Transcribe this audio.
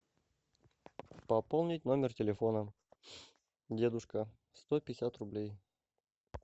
пополнить номер телефона дедушка сто пятьдесят рублей